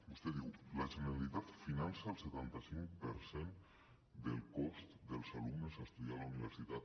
vostè diu la generalitat finança el setanta cinc per cent del cost dels alumnes a estudiar a la universitat